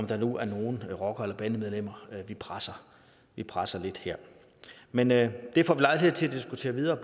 der nu er nogle rockere eller bandemedlemmer vi presser vi presser lidt her men det det får vi lejlighed til at diskutere videre